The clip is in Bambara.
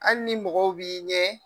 Ali ni ni mɔgɔw b'i ɲɛ.